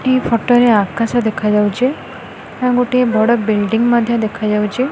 ଏହି ଫଟୋ ରେ ଆକାଶ ଦେଖାଯାଉଛି ଆଉ ଗୋଟେ ବଡ଼ ବିଲଡିଙ୍ଗ ମଧ୍ୟ ଦେଖାଯାଉଛି।